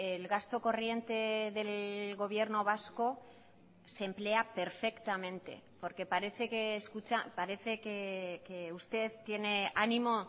el gasto corriente del gobierno vasco se emplea perfectamente porque parece que escucha parece que usted tiene ánimo